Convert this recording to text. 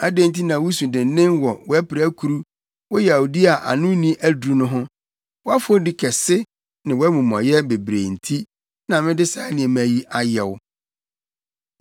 Adɛn nti na wusu dennen wɔ wʼapirakuru, wo yawdi a ano nni aduru no ho? Wʼafɔdi kɛse ne wʼamumɔyɛ bebrebe nti na mede saa nneɛma yi ayɛ wo.